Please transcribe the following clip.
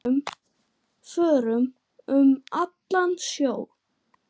Förum um allan sjó.